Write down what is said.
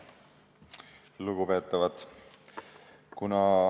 Lugupeetavad!